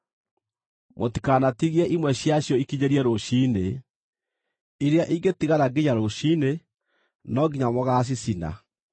Mũtikanatigie imwe ciacio ikinyĩrie rũciinĩ; iria ingĩtigara nginya rũciinĩ, no nginya mũgaacicina.